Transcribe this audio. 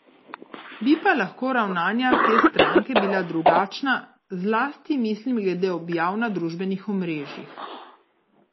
Bi pa lahko ravnanja te stranke bila drugačna, zlasti mislim glede objav na družbenih omrežjih.